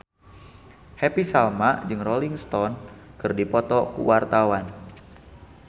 Happy Salma jeung Rolling Stone keur dipoto ku wartawan